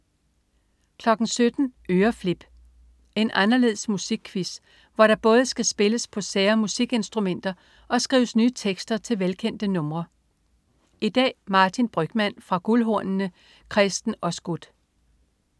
17.00 Øreflip. En anderledes musikquiz, hvor der både skal spilles på sære musikinstrumenter og skrives nye tekster til velkendte numre. I dag: Martin Brygmann fra "Guldhornene". Kresten Osgood